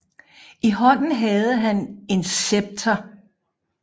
I hånden havde han et scepter